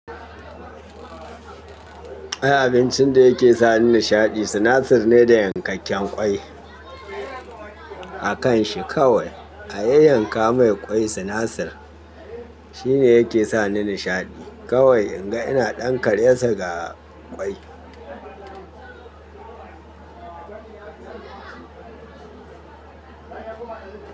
Ai abincin da yake sani nishaɗi sinasir ne da yankakken kwai akan shi kawai. A yayyanka mai ƙwai sinasir shine yake sani nishaɗi kawai in ga ina ɗankar yansa ga ƙwai.